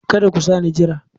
Kada ku sa ni jira!